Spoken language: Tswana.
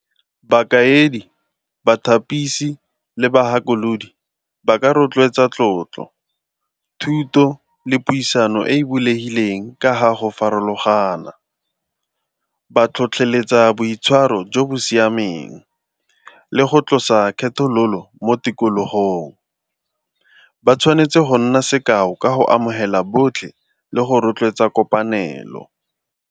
Bakaedi, bathapisi le bagakolodi ba ka rotloetsa tlotlo, thuto le puisano e e bulegileng ka ga go farologana. Ba tlhotlheletsa boitshwaro jo bo siameng le go tlosa kgethololo mo tikologong. Ba tshwanetse go nna sekao ka go amogela botlhe le go rotloetsa kopanelo.